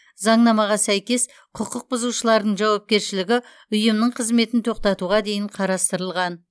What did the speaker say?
заңнамаға сәйкес құқық бұзушылардың жауапкершілігі ұйымның қызметін тоқтатуға дейін қарастырылған